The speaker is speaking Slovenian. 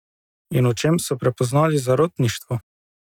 In v čem so prepoznali zarotništvo?